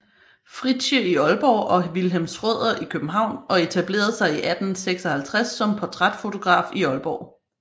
Fritsche i Aalborg og Wilhelm Schrøder i København og etablerede sig i 1856 som portrætfotograf i Aalborg